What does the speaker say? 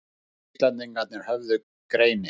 Hinir Íslendingarnir höfðu greini